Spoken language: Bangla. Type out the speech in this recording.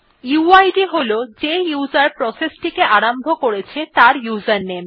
উইড হল যে উসের প্রসেস টিকে আরম্ভ করেছে তার উসের নামে